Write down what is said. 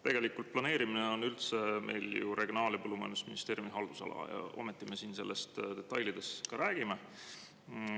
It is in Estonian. Tegelikult planeerimine on üldse meil ju Regionaal- ja Põllumajandusministeeriumi haldusala, ometi me siin sellest detailides ka räägime.